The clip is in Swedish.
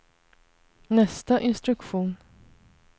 nästa instruktion